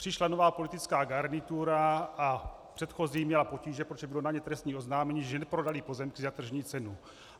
Přišla nová politická garnitura a předchozí měla potíže, protože bylo na ně trestní oznámení, že neprodali pozemky za tržní cenu.